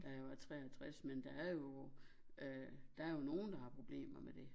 Da jeg var 63 men der er jo øh der er jo nogen der har problemer med dét